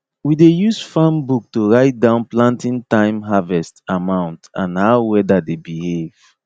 we dey use farm book to write down planting time harvest amount and how weather dey behave